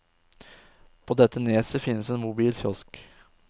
På dette neset finnes en mobil kiosk.